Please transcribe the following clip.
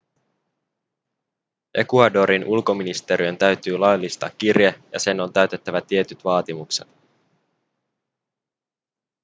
ecuadorin ulkoministeriön täytyy laillistaa kirje ja sen on täytettävä tietyt vaatimukset